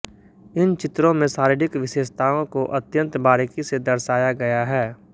इन चित्रों में शारीरिक विशेषताओं को अत्यंत बारीकी से दर्शाया गया है